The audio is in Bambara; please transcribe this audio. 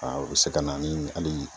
o be se ka na ni hali